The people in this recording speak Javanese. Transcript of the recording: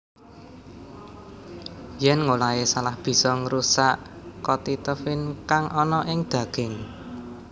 Yèn ngolahé salah bisa ngrusak kotitefin kang ana ing daging